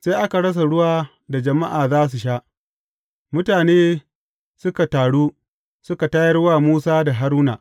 Sai aka rasa ruwa da jama’a za su sha, mutane suka taru, suka tayar wa Musa da Haruna.